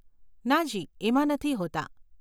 નાજી, એમાં નથી હોતાં.